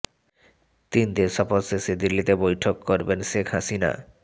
তিন দেশ সফর শেষে দিল্লিতে বৈঠক করবেন শেখ হাসিনা